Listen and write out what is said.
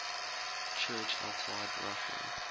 church outside russia